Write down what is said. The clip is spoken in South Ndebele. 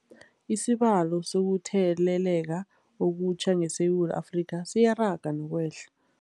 Isibalo sokuthele leka okutjha ngeSewula Afrika siyaraga nokwehla.